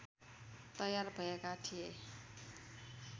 तयार भएका थिए